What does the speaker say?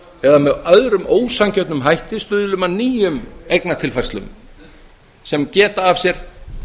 eða með öðrum ósanngjörnum hætti stuðlum að nýjum eignatilfærslum sem geta af sér